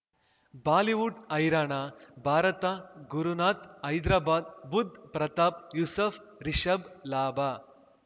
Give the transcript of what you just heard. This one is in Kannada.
ಬಾಲಿವುಡ್ ಹೈರಾಣ ಭಾರತ ಗುರುನಾಥ್ ಹೈದ್ರಾಬಾದ್ ಬುಧ್ ಪ್ರತಾಪ್ ಯೂಸುಫ್ ರಿಷಬ್ ಲಾಭ